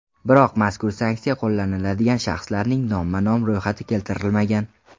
Biroq mazkur sanksiya qo‘llanadigan shaxslarning nomma-nom ro‘yxati keltirilmagan.